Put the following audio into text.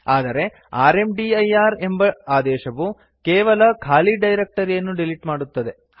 ಆದರೆ ರ್ಮದಿರ್ ಎಂಬ ಆದೇಶವು ಕೇವಲ ಖಾಲಿ ಡೈರಕ್ಟರಿಯನ್ನು ಡಿಲಿಟ್ ಮಾಡುತ್ತದೆ